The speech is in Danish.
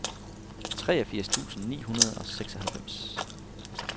treogfirs tusind ni hundrede og seksoghalvfems